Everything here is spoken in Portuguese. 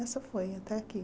Essa foi, até aqui.